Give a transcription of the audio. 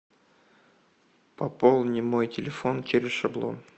пополни мой телефон через шаблон